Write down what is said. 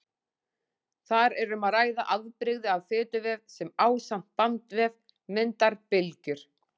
Þar er um að ræða afbrigði af fituvef sem ásamt bandvef myndar bylgjur.